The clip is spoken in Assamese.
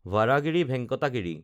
ভাৰাহাগিৰি ভেংকাটা গিৰি